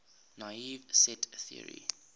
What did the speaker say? naive set theory